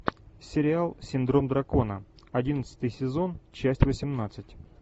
сериал синдром дракона одиннадцатый сезон часть восемнадцать